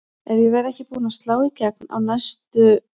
Ef ég verð ekki búin að slá í gegn á næstu